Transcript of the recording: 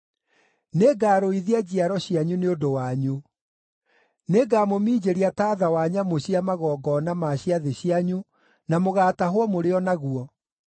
“Nĩngarũithia njiaro cianyu nĩ ũndũ wanyu; nĩngamũminjĩria taatha wa nyamũ cia magongona ma ciathĩ cianyu na mũgaatahwo mũrĩ o naguo.